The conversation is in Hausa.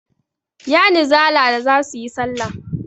Yanizala za su yi salla.